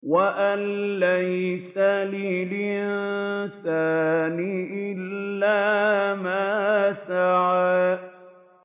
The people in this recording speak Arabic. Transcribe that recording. وَأَن لَّيْسَ لِلْإِنسَانِ إِلَّا مَا سَعَىٰ